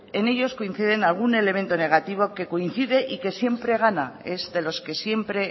ellos coinciden algún elemento negativo que coincide y que siempre gana es de los que siempre